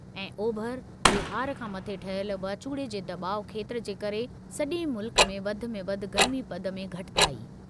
ऐं, ओभर बिहार खां मथे ठहियल वाचूड़े जे दॿाउ खेत्रु जे करे सॼे मुल्क में वधि में वधि गर्मीपद में घटिताई।